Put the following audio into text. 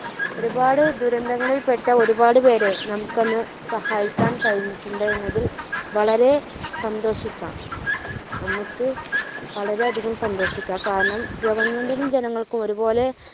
ഒരുപാട് ദുരന്തങ്ങളിൽ പെട്ട ഒരുപാട് പേരെ നമുക്ക് അന്ന് സഹായിക്കാൻ കഴിഞ്ഞിട്ടുണ്ട് എന്നതിൽ വളരെ സന്തോഷിക്കാം. നമുക്ക് വളരെയധികം സന്തോഷിക്കാം. കാരണം government ജനങ്ങൾക്കും ഒരുപോലെ